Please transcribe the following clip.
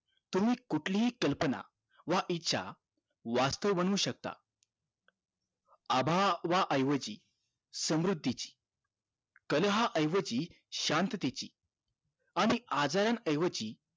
तुम्ही कुठली हि कल्पना व इच्छा वास्थव बनू शकता अभावायेवजी समृद्धीची कलह ऐवजी शांततेची आणि आजारा ऐवजी